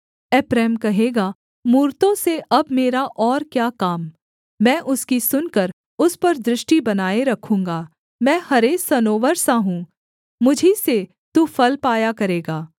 एप्रैम कहेगा मूरतों से अब मेरा और क्या काम मैं उसकी सुनकर उस पर दृष्टि बनाए रखूँगा मैं हरे सनोवर सा हूँ मुझी से तू फल पाया करेगा